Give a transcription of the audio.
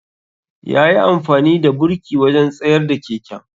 ya yi amfani da burki wajen tsayar da keken.